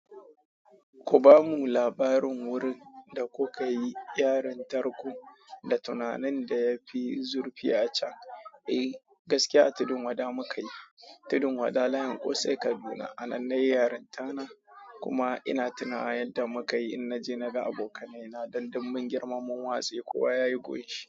Ku bamu labarin wurin da kuka yi yarinyar tarku da tunanin da ya fi zurfi a can. Eh, gaskiya a tudun wada muka yi. Tudun wada layin ƙosai Kaduna. Anan na yi yarin tana kuma ina tunawa yadda muka yi in naje naga abokaina don dun dun girman mun watse kuwa yayi goshi.